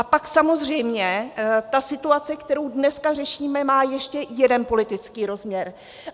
A pak samozřejmě ta situace, kterou dneska řešíme, má ještě jeden politický rozměr.